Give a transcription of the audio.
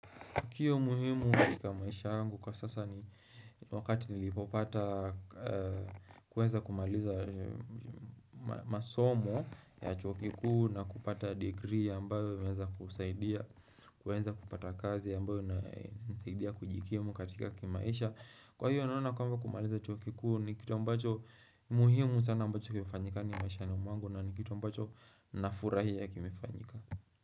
Tukio muhimu katika maisha yangu kwa sasa ni wakati nilipopata kuweza kumaliza masomo ya chuo kikuu na kupata degree ambayo inaweza kusaidia kuweza kupata kazi ambayo inayonisidia kujikimu katika kimaisha Kwa hiyo naona kama kumaliza chuo kikuu ni kitu ambacho muhimu sana ambacho kimefanyika maishani mwangu na ni kitu ambacho na furahia kimefanyika.